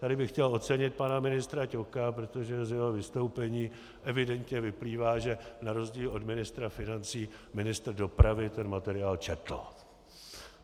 Tady bych chtěl ocenit pana ministra Ťoka, protože z jeho vystoupení evidentně vyplývá, že na rozdíl od ministra financí ministr dopravy ten materiál četl.